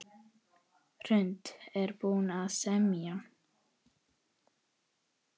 Hrund: Er búið að semja?